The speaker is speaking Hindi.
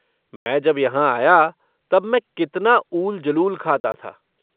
मैं जब यहाँ आया, तब मैं कितना ऊल जलूल खाता था।